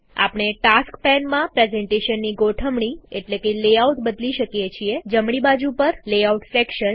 આપણે ટાસ્ક પેનમાં પ્રેઝન્ટેશનની ગોઠવણી એટલેકે લેઆઉટ બદલી શકીએ છીએ જમણી બાજુ પરલેઆઉટ સેક્શન